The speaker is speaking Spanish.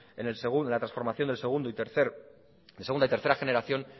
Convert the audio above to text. en la transformación de segunda y tercera generación